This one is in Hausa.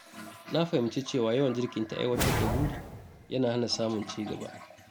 Na fahimci cewa yawan jinkirta aiwatar da buri yana hana samun ci gaba.